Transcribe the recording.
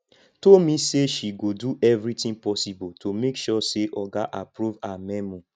tomi say she go do everything possible to make sure say oga approve her memo